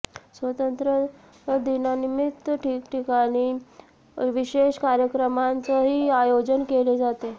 स्वातंत्र्य दिनानिमित्त ठिकठिकाणी विशेष कार्यक्रमांचंही आयोजन केले जाते